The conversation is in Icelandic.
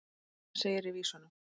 um hann segir í vísunum